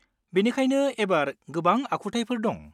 बेनिखायनो एबार गोबां आखुथायफोर दं।